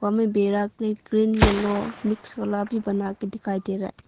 हमें बेड़ा की ग्रिल येलो मिक्स वाला भी बना के दिखाई दे रहा है।